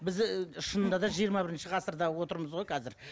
біз ііі шынында да жиырма бірінші ғасырда отырмыз ғой қазір